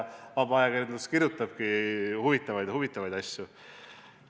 Vaba ajakirjandus kirjutabki huvitavaid asju.